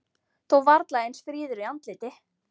Þó varla eins fríður í andliti.